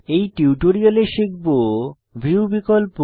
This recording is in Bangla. এই টিউটোরিয়ালে শিখব ভিউ বিকল্প